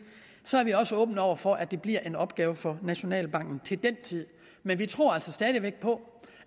så er vi også åbne over for at det bliver en opgave for nationalbanken til den tid men vi tror altså stadig væk på